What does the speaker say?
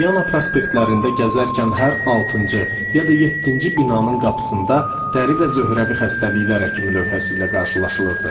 Viana prospektlərində gəzərkən hər altıncı ya da yeddinci binanın qapısında dəri və zöhrəvi xəstəliklər həkimi lövhəsi ilə qarşılaşırdı.